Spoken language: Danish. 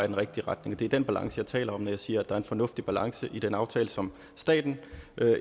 den rigtige retning det er den balance jeg taler om når jeg siger at der er en fornuftig balance i den aftale som staten